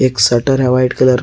एक शटर है white colour का।